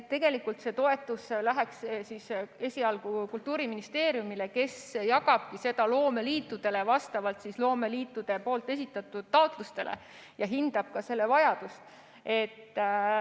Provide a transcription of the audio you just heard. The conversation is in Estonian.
Tegelikult läheks see toetuseraha esialgu Kultuuriministeeriumile, kes jagab seda loomeliitudele vastavalt loomeliitude esitatud taotlustele ja hindab ka selle vajadust.